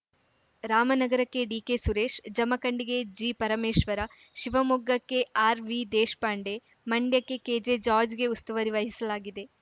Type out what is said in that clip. ರಾಮನಗರಕ್ಕೆ DK Suresh ಜಮಖಂಡಿಗೆ ಜಿಪರಮೇಶ್ವರ ಶಿವಮೊಗ್ಗಕ್ಕೆ RV Deshpande ಮಂಡ್ಯಗೆ ಕೆಜೆ ಜಾಜ್‌ರ್‍ಗೆ ಉಸ್ತುವಾರಿ ವಹಿಸಲಾಗಿದೆ